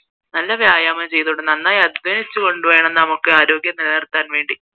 നല്ല വ്യായാമം ചെയ്തു കൊണ്ട് നന്നായി അധ്വാനിച്ച് വേണം നമുക്ക് ആരോഗ്യം നിലനിർത്താൻ വേണ്ടി